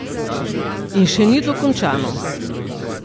In še ni dokončano.